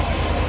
Sağ əyləş.